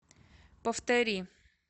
повтори